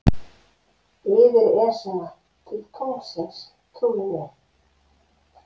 Yfir Esjuna til tunglsins, trúðu mér.